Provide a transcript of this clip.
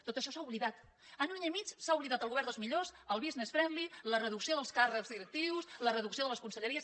tot això s’ha oblidat en un any i mig s’ha oblidat el govern dels millors el business friendly la reducció dels càrrecs directius la reducció de les conselleries